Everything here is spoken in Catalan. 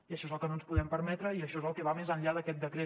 i això és el que no ens podem permetre i això és el que va més enllà d’aquest decret